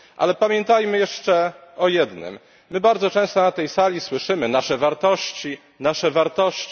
Ale pamiętajmy jeszcze o jednym my bardzo często na tej sali słyszymy nasze wartości, nasze wartości.